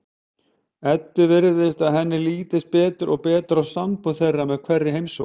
Eddu virðist að henni lítist betur og betur á sambúð þeirra með hverri heimsókn.